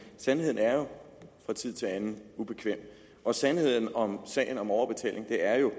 sandheden er jo fra tid til anden ubekvem og sandheden om sagen om overbetaling er jo